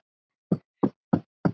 Ég á tvær ungar dætur.